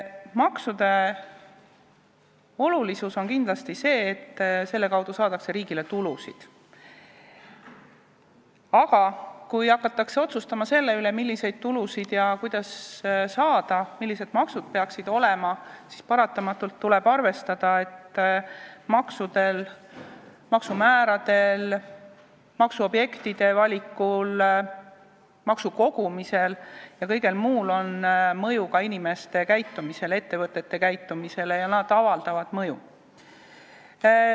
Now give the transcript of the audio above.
Maksude olulisust näitab kindlasti see, et nende abil saadakse riigile tulusid, aga kui hakatakse otsustama selle üle, milliseid tulusid ja kuidas saada, millised maksud peaksid olema, siis tuleb paratamatult arvestada, et maksudel, maksumääradel, maksuobjektide valikul, maksukogumisel ja kõigel muul on mõju ka inimeste ja ettevõtete käitumisele, need asjad avaldavad mõju.